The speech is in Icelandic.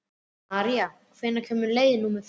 Marí, hvenær kemur leið númer fimm?